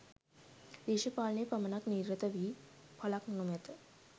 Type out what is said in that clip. දේශපාලනයේ පමණක් නිරත වී ඵලක් නොමැත.